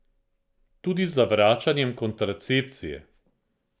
Tudi z zavračanjem kontracepcije.